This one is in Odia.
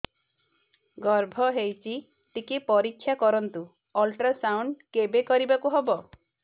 ଗର୍ଭ ହେଇଚି ଟିକେ ପରିକ୍ଷା କରନ୍ତୁ ଅଲଟ୍ରାସାଉଣ୍ଡ କେବେ କରିବାକୁ ହବ